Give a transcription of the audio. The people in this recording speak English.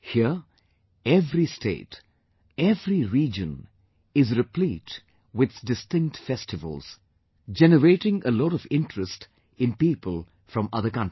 Here, every state, every region is replete with distinct festivals, generating a lot of interest in people from other countries